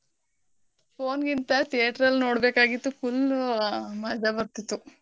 Phone ಗಿಂತ theatre ಅಲ್ ನೋಡ್ಬೇಕಾಗಿತ್ತು full ಮಜಾ ಬರ್ತಿತ್ತು.